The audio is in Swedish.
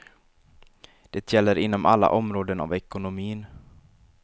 Det gäller inom alla områden av ekonomin.